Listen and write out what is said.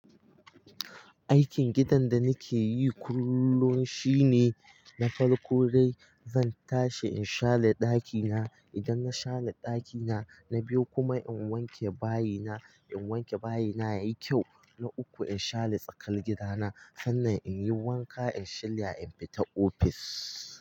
Aikin gidan da nake yi kullum shine na farko dai zan tashi in share daki na. Idan na share daki na, na biyu kuma in wanke bayi na. In wanke bayi na ya yi kyau, na uku in share tsakar gida na. Sannan in yi wanka in shirya in fita ofis.